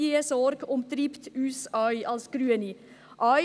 Diese Sorge treibt uns auch als Grüne um.